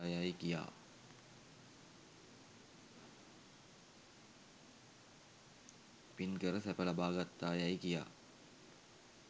පින් කර සැප ලබා ගත්තායැයි කියා